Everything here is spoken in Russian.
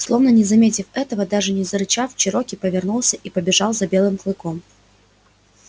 словно не заметив этого даже не зарычав чероки повернулся и побежал за белым клыком